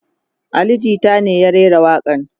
Ali jita ne ya rera waƙa n